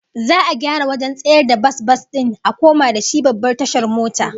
Za'a gyara wajen tsayawar bas-bas din a koma da shi babbar tashar mota